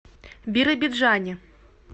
биробиджане